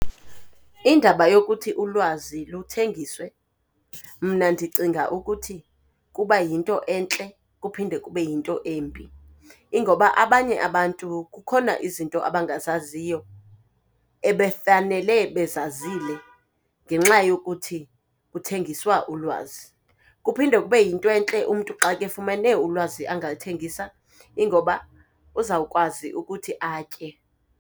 Indaba yokuthi ulwazi luthengiswe mna ndicinga ukuthi kuba yinto entle kuphinde kube yinto embi, ingoba abanye abantu kukhona izinto abangazaziyo ebefanele bezazile ngenxa yokuthi kuthengiswa ulwazi. Kuphinde kube yinto entle umntu xa kefumene ulwazi angaluthengisa, ingoba uzawukwazi ukuthi atye.